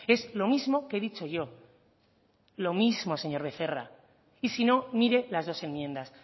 es lo mismo que he dicho yo lo mismo señor becerra y si no mire las dos enmiendas